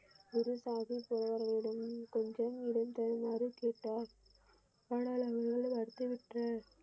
குரு சாகிப் ஒருவரிடமும் கொஞ்சம் இடம் தருமாறு கேட்டார் ஆனால் அவர்கள் மறுத்து விட்டனர்.